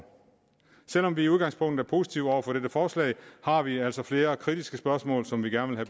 selv om vi i udgangspunktet er positive over for dette forslag har vi altså flere kritiske spørgsmål som vi gerne vil